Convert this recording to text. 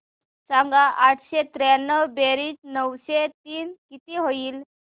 सांग आठशे त्र्याण्णव बेरीज नऊशे तीन किती होईल